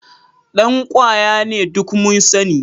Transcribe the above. Dan kwaya ne, duk mun sani